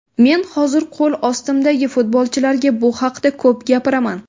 Men hozir qo‘l ostimdagi futbolchilarga bu haqida ko‘p gapiraman.